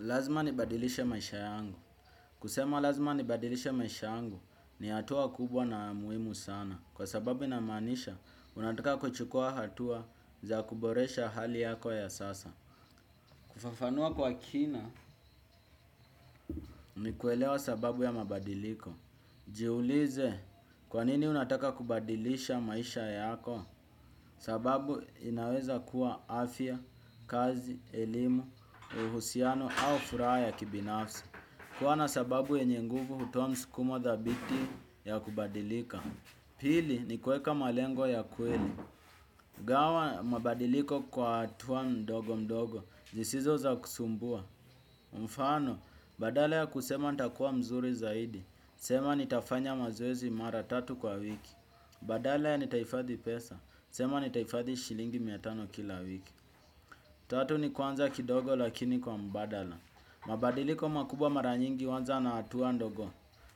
Lazima nibadilishe maisha yangu. Kusema lazima nibadilishe maisha yangu ni hatua kubwa na muhimu sana. Kwa sababu inamaanisha, unataka kuchukua hatua za kuboresha hali yako ya sasa. Kufafanua kwa kina, ni kuelewa sababu ya mabadiliko. Jiulize kwa nini unataka kubadilisha maisha yako. Sababu inaweza kuwa afya, kazi, elimu, uhusiano au furaha ya kibinafsi. Kuwa na sababu yenye nguvu hutoa msukumo thabiti ya kubadilika. Pili ni kuweka malengo ya kweli. Gawa mabadiliko kwa hatua mdogo mdogo zisizo za kusumbua. Mfano badala ya kusema nita kuwa mzuri zaidi. Sema nitafanya mazoezi mara tatu kwa wiki. Badala ya nitahifadhi pesa. Sema nitahifadhi shilingi mia tano kila wiki. Tatu ni kuanza kidogo lakini kwa mbadala. Mabadiliko makubwa mara nyingi huanza na hatua ndogo.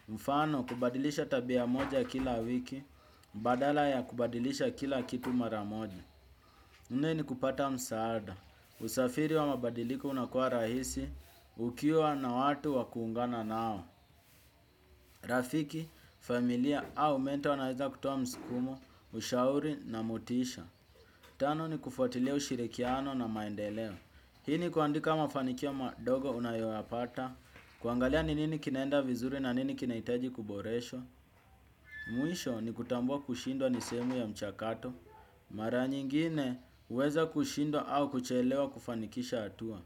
Mfano kubadilisha tabia moja kila wiki badala ya kubadilisha kila kitu mara moja. Nne ni kupata msaada. Usafiri wa mabadiliko unakuwa rahisi. Ukiwa na watu wa kuungana nao rafiki, familia au menta wanaeza kutuwa msukumo. Ushauri na motisha. Tano ni kufuatilia ushirikiano na maendeleo. Hii ni kuandika mafanikio madogo unayoyapata. Kuangalia ni nini kinaenda vizuri na nini kinahitaji kuboreshwa. Mwisho ni kutambua kushindwa ni sehemu ya mchakato. Mara nyingine huweza kushindwa au kuchelewa kufanikisha hatua.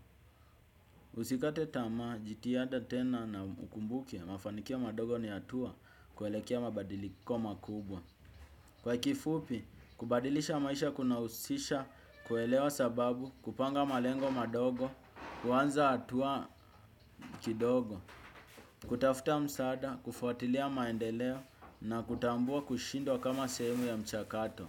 Usikate tamaa jitihada tena na ukumbuke mafanikio madogo ni hatua kuelekea mabadiliko makubwa. Kwa kifupi kubadilisha maisha kuna husisha kuelewa sababu kupanga malengo madogo. Kuanza hatua kidogo, kutafuta msaada, kufuatilia maendeleo na kutambua kushindwa kama sehemu ya mchakato.